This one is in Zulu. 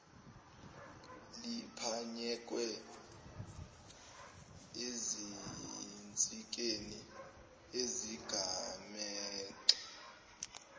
liphanyekwe ezinsikeni ezigamegxe